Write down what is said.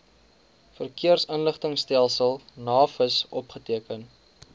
verkeersinligtingstelsel navis opgeteken